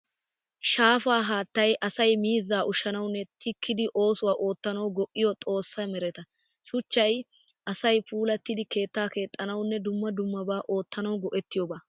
Shaafaa haattay asay miizzaa ushshanawunne tikkidi oosuwaa oottanawu go'iya xoossay mereta. Shuchchay asay puulattida keettaa keexxanawunne dumma dummabaa oottanawu go'ettiyooba.